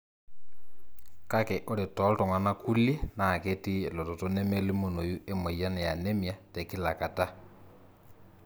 kake ore toltungana kulie na ketii elototo nemelimunoyu emoyian eanemia tekila kataa.